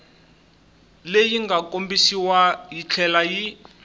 leyi nga kombisiwa yitlhela yi